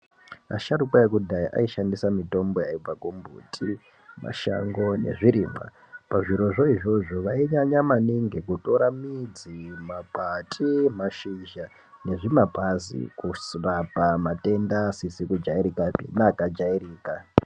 Asharuka ekudhaya aishandisa mitombo yaibva kumbuti mashango nezvirimwa. Pazvirozvo izvozvo vainyanya maningi kutora midzi, makwati, mashizha nezvimapazi kurapa matenda asizi kujairikapi neakajairika.